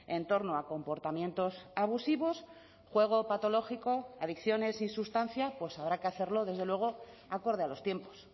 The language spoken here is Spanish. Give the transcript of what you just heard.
en torno a comportamientos abusivos juego patológico adicciones sin sustancia pues habrá que hacerlo desde luego acorde a los tiempos